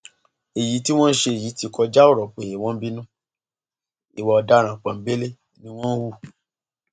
èyí tí wọn ṣe yìí ti kọjá ọrọ pé wọn ń bínú ìwà ọdaràn pọńbélé ni wọn hù